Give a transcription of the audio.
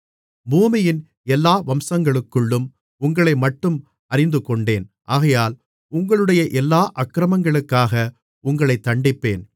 பூமியின் எல்லா வம்சங்களுக்குள்ளும் உங்களைமட்டும் அறிந்துகொண்டேன் ஆகையால் உங்களுடைய எல்லா அக்கிரமங்களுக்காக உங்களைத் தண்டிப்பேன்